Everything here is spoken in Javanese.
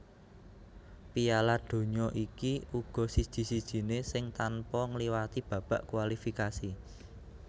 Piala Donya iki uga siji sijiné sing tanpa ngliwati babak kualifikasi